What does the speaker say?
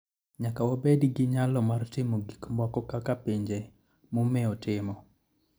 Nyaka wabed gi nyalo mar timo gik moko kaka pinje momewo timo.